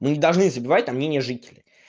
мы не должны забывать там мнение жителей